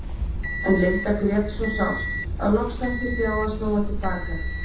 En Linda grét svo sárt að loks sættist ég á að snúa til baka.